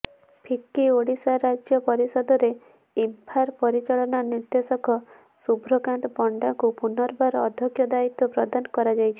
ଫିକି ଓଡ଼ିଶା ରାଜ୍ୟ ପରିଷଦରେ ଇମ୍ଫାର ପରିଚାଳନା ନିର୍ଦେଶକ ଶୁଭ୍ରକାନ୍ତ ପଣ୍ଡାଙ୍କୁ ପୁନର୍ବାର ଅଧ୍ୟକ୍ଷ ଦାୟିତ୍ବ ପ୍ରଦାନ କରାଯାଇଛି